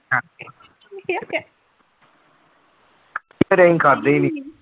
ਫਿਰ ਅਸੀਂ ਖਾਧੇ ਹੀ ਨੀ।